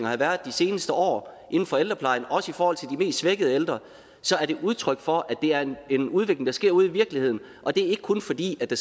har været de seneste år inden for ældreplejen også i forhold til de mest svækkede ældre så er det udtryk for at det er en udvikling der sker ude i virkeligheden og det er ikke kun fordi der